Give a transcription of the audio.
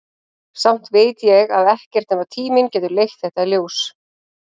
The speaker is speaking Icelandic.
Samt veit ég að ekkert nema tíminn getur leitt þetta í ljós.